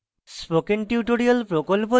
spoken tutorial প্রকল্প the